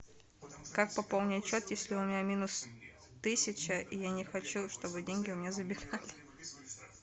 как пополнить счет если у меня минус тысяча и я не хочу чтобы деньги у меня забирали